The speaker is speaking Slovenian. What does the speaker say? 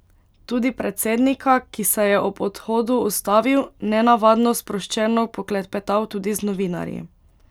Tudi predsednika, ki se je ob odhodu ustavil, nenavadno sproščeno poklepetal tudi z novinarji.